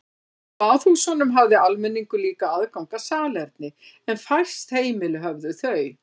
Í baðhúsunum hafði almenningur líka aðgang að salerni en fæst heimili höfðu þau.